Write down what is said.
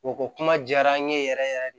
U ko kuma diyara an ye yɛrɛ yɛrɛ de